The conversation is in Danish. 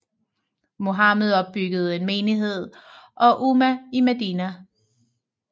Muhammed opbyggede en menighed og umma i Medina